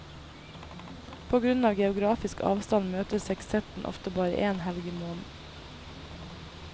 På grunn av geografisk avstand møtes sekstetten ofte bare én helg i måneden.